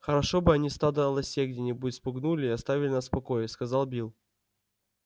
хорошо бы они стадо лосей где-нибудь спугнули и оставили нас в покое сказал билл